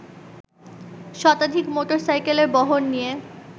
শতাধিক মোটরসাইকেলের বহর নিয়ে